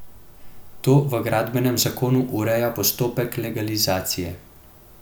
To v gradbenem zakonu ureja postopek legalizacije.